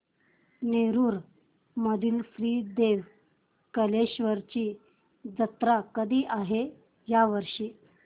नेरुर मधील श्री देव कलेश्वर ची जत्रा कधी आहे या वर्षी